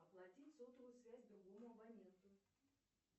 оплатить сотовую связь другому абоненту